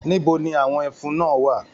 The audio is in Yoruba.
Níbo ni àwọn ẹfun náà wà?